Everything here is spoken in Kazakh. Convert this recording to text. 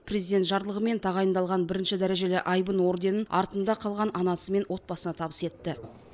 президент жарлығымен тағайындалған бірінші дәрежелі айбын орденін артында қалған анасы мен отбасына табыс етті